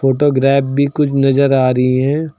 Photograph भी कुछ नजर आ रही हैं।